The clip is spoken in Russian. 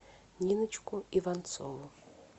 ниночку иванцову